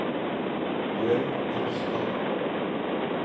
Bjørg Rustad